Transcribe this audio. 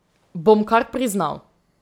Bom kar priznal.